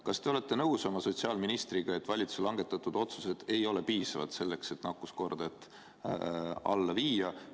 Kas te olete oma sotsiaalministriga nõus, et valitsuse langetatud otsused ei olnud piisavad, et nakkuskorda alla viia?